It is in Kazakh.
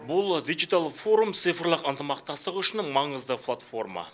бұл дигитал форум цифрлық ынтымақтастық үшін маңызды платформа